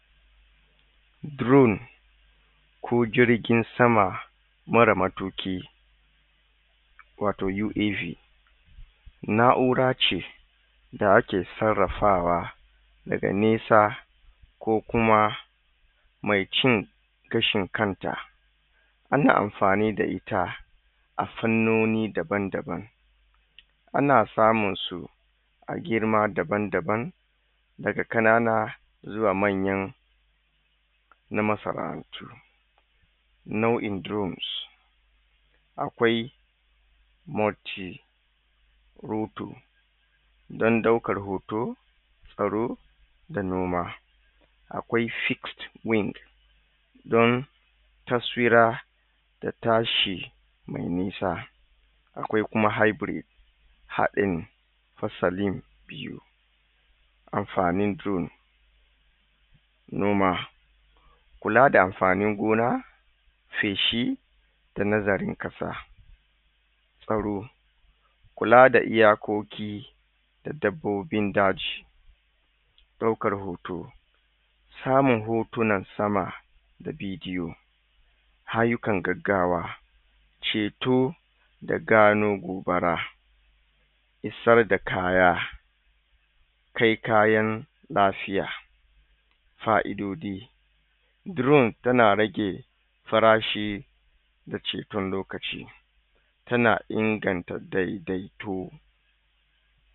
Drone ko jirgin sama mara matuƙi wato uav na urace da ake sarrafawa daga nesa ko kuma me cin gashin kanta ana amfani da ita afannoni daban daban ana samunsu a girma daban daban daga ƙanana zuwa manyan na masana antu nau in drones akwai moti rutu dan ɗaukan hoto tsaro da noma akwai fix win don tasfira da tashi me nisa akwai haibri haɗin fasalin biyu amfanin drone noma kulada amfanin gona feshi da nazarin ƙasa faro kulada iya koki da dabbobin daji ɗaukar hoto samun hotunan sama da bidi o aiyukan gaggawa ceto da gano gobara isar da kaya kai kayan lafiya fa'idodi drone tana rage farashi da ceton lokaci tana inganta dedaito